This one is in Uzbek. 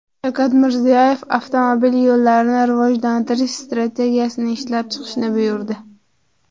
Shavkat Mirziyoyev Avtomobil yo‘llarini rivojlantirish strategiyasini ishlab chiqishni buyurdi.